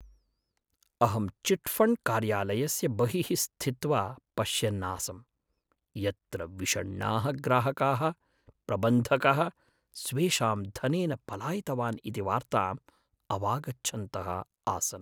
अहं चिट्फण्ड्कार्यालयस्य बहिः स्थित्वा पश्यन्नासं, यत्र विषण्णाः ग्राहकाः प्रबन्धकः स्वेषां धनेन पलायितवान् इति वार्ताम् अवागच्छन्तः आसन्।